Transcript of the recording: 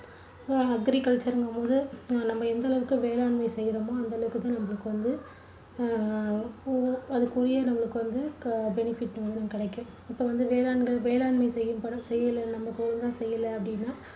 agriculture ங்கும்போது நம்ம எந்த அளவுக்கு வேளாண்மை செய்யுறமோ அந்த அளவுக்குத்தான் நம்மளுக்கு வந்து அஹ் அதற்குறிய நம்மளுக்கு வந்து benefit வந்து கிடைக்கும். இப்போ வந்து வேளாண்கள்~வேளாண்மை செய்யும்போ~செய்யலை வேளாண்மை நாங்க செய்யல அப்படின்னா